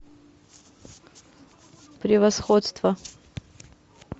превосходство